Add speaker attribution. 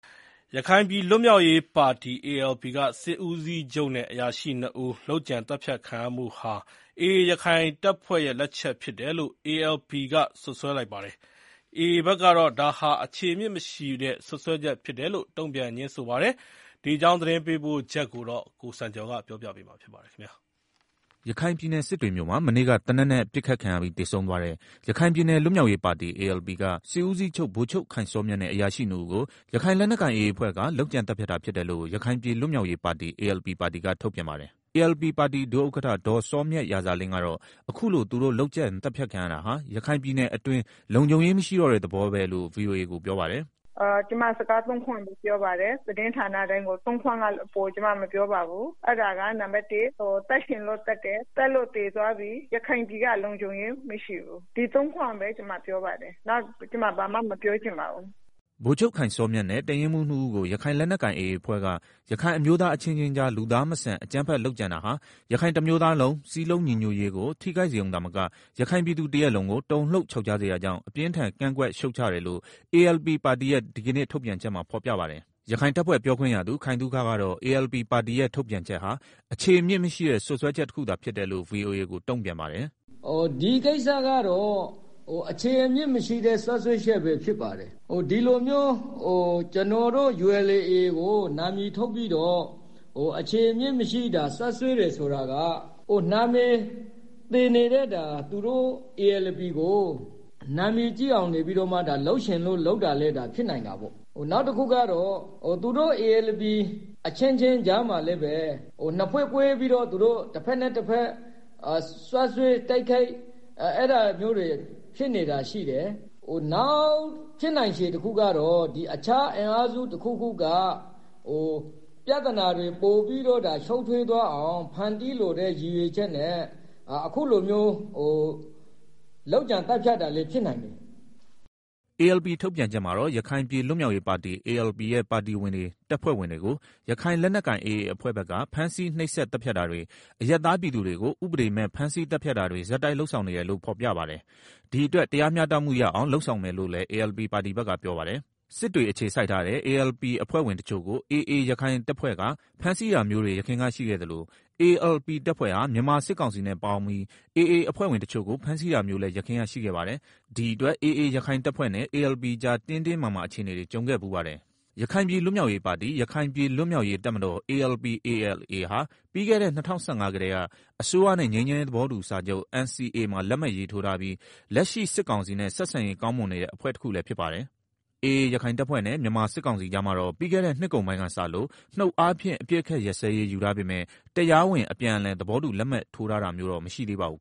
Speaker 1: ရခိုင်ပြည်လွတ်မြောက်ရေးပါတီ ALP က စစ်ဦးစီးချုပ်နဲ့အရာရှိနှစ်ဦး လုပ်ကြံပစ်သတ်ခံရမှုဟာ AA ရခိုင်တပ်ဖွဲ့လက်ချက်ဖြစ်တယ်လို့ ALP က စွပ်စွဲပါတယ်။ AA ဘက်ကတော့ ဒါဟာ အခြေအမြစ်မရှိတဲ့ စွပ်စွဲချက်လို့ တုံ့ပြန်ငြင်းဆိုပါတယ်။ ဒီအကြောင်းသတင်းပေးပို့ချက်ကို ကိုစံကျော်က တင်ပြပေးထားပါတယ်။ ရခိုင်ပြည်နယ် စစ်တွေမြို့မှာ မနေ့က သေနတ်နဲ့ပစ်ခံရပြီးသေဆုံးသွားတဲ့ ရခိုင်ပြည်နယ် လွတ်မြောက်ရေးပါတီ (ALP) က စစ်ဦးစီးချုပ် ဗိုလ်ချုပ်ခိုင်စောမြတ်နဲ့အရာရှိနှစ်ဦးကို ရခိုင်လက်နက်ကိုင်AA အဖွဲ့က လုပ်ကြံသတ်ဖြတ်တာဖြစ်တယ်လို့ ရခိုင်ပြည်လွတ်မြောက်ရေးပါတီ (ALP) ပါတီက ထုတ်ပြန်ပါတယ်။ ALP ပါတီ ဒု ဥက္ကဋ္ဌ ဒေါ်စောမြရာဇာလင်းကတော့ အခုလို သူတို့လုပ်ကြံသတ်ဖြတ်ခံရတာဟာ ရခိုင်ပြည်နယ်အတွင်း လုံခြုံရေးမရှိတော့တဲ့သဘောပဲလို့ VOA ကို ပြောပါတယ်။ “ ကျမစကားသုံးခွန်းပဲပြောပါတယ်။ သတင်းဌာနတိုင်းကို ၃ ခွန်းထက် အပိုမပြောလိုပါဘူး။ အဲဒါက နံပါတ် (၁) သတ်ချင်လို့သတ်တယ်။ သတ်လို့သေသွားပြီ။ ရခိုင်ပြည်က လုံခြုံရေး မရှိတော့ဘူး။ ဒီ ၃ ခွန်းပဲ ကျမပြောပါတယ်။ နောက် ဘာမှ မပြောချင်ပါဘူး။” ဗိုလ်ချုပ်ခိုင်စောမြတ်နဲ့ တပ်ရင်းမှူးနှစ်ဦးကို ရခိုင်လက်နက်ကိုင် AA အဖွဲ့က ရခိုင်အမျိုးသား အချင်းချင်းကြား လူသားမဆန် အကြမ်းဖက်လုပ်ကြံတာဟာ ရခိုင်တမျိုးသားလုံးစည်းလုံးညီညွတ်ရေးကိုထိခိုက်စေရုံမက ရခိုင်ပြည်သူတရပ်လုံးကို တုန်လှုပ်ခြောက်ခြားစေတာကြောင့် အပြင်းအထန် ကန့်ကွက်ရှုတ်ချတယ်လို့ ALP ပါတီရဲ့ ဒီကနေ့ ထုတ်ပြန်ချက်မှာဖော်ပြပါတယ်။ AA ရခိုင်တပ်ဖွဲ့ပြောခွင့်ရသူ ခိုင်သုခ ကတော့ ALP ပါတီရဲ့ထုတ်ပြန်ချက်ဟာ အခြေအမြစ်မရှိ တဲ့ စွပ်စွဲချက်တခုသာဖြစ်တယ်လို့ VOA ကို တုံ့ပြန်ပါတယ်
Speaker 2: ။ “ဒီကိစ္စကတော့ အခြေအမြစ်မရှိတဲ့ စွပ်စွဲချက်ပဲ ဖြစ်ပါတယ်။ ဒီလိုမျိုး ကျနော်တို့ ULA/AA ကိုနာမည်တပ်ပြီးတော့ အခြေအမြစ်မရှိ စွပ်စွဲတယ်ဆိုတာက နာမည်သေနေတဲ့ သူတို့ ALP ကို နာမည်ကြီးအောင် လုပ်ချင်လို့လုပ်တာလည်း ဖြစ်နိုင်တာပေါ့။ နောက်တခုက သူတို့ ALP အချင်းချင်းကြားမှာလည်း နှစ်ဖွဲ့ကွဲပြီးတော့ စွပ်စွဲတိုက်ခိုက်-အဲဒါမျိုးတွေ ဖြစ်နေတာရှိတယ်။ နောက်ဖြစ်နိုင်တာတခုကတော့ တခြားအင်အားစုတခုခုက ပြဿနာတွေပိုပြီးတော့ ရှုပ်ထွေးသွားအောင် ဖန်တီးလိုတဲ့ရည်ရွယ်ချက်နဲ့ အခုလိုမျိုး လုပ်ကြံသတ်ဖြတ်တာလည်း ဖြစ်နိုင်တယ်။”
Speaker 1: ALP ထုတ်ပြန်ချက်မှာတော့ ရခိုင်ပြည်လွတ်မြောက်ရေးပါတီ ALP ရဲ့ ပါတီဝင်တွေ တပ်ဖွဲ့ဝင်တွေကို ရခိုင်လက်နက်ကိုင် AA အဖွဲ့ဘက်က ဖမ်းဆီးနှိပ်စက်သတ်ဖြတ်တာတွေ၊ အရပ်သားပြည်သူတွေကို ဥပဒေမဲ့ ဖမ်းဆီးသတ်ဖြတ်တာတွေ ဆက်တိုက်လုပ်နေတယ်လို့ ဖော်ပြပါတယ်။ ဒီအတွက် တရားမျှတမှုရအောင် လုပ်ဆောင်မယ်လို့လည်း ALP ပါတီက ပြောပါတယ်။ စစ်တွေအခြေစိုက်ထားတဲ့ ALP အဖွဲ့ဝင်တချို့ကို AA ရခိုင်တပ်ဖွဲ့က ဖမ်းဆီးတာမျိုးတွေ ယခင်ကရှိခဲ့သလို ALP တပ်ဖွဲ့ဟာ မြန်မာစစ်ကောင်စီနဲ့ပေါင်းပြီး AA အဖွဲ့ဝင်တချို့ကို ဖမ်းဆီးတာမျိုးလည်း ရှိခဲ့ဖူးပါတယ်။ ဒီအတွက် AA ရခိုင်တပ်ဖွဲ့နဲ့ ALP ကြား တင်းတင်းမာမာ အခြေအနေတွေ ကြုံခဲ့ဖူးပါတယ်။ ရခိုင်ပြည်လွတ်မြောက်ရေးပါတီ/ရခိုင်ပြည်လွတ်မြောက်ရေးတပ်မတော် (ALP/ALA) ဟာ ပြီးခဲ့တဲ့ ၂၀၁၅ ကတည်းက အစိုးရနဲ့ ငြိမ်းချမ်းရေးသဘောတူစာချုပ် (NCA) မှာ လက်မှတ်ရေး ထိုးထားပြီး လက်ရှိ စစ်ကောင်စီနဲ့ ဆက်ဆံရေးကောင်းမွန်နေတဲ့ အဖွဲ့တခုလည်းဖြစ်ပါတယ်။ AA ရခိုင်တပ်ဖွဲ့နဲ့ မြန်မာစစ်ကောင်စီကြားမှာတော့ ပြီးခဲ့တဲ့နှစ်ကုန်ပိုင်းကစလို့ နှုတ်အားဖြင့် အပစ်အခတ်ရပ်စဲရေးယူထားပေမဲ့ တရားဝင် အပြန်အလှန် သဘောတူလက်မှတ်ထိုးတာမျိုး မရှိသေးပါဘူး